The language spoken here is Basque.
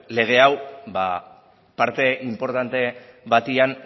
lege hau parte inportante batean